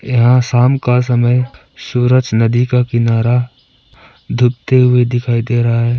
यहां शाम का समय सूरज नदी का किनारा डूबते हुए दिखाई दे रहा है।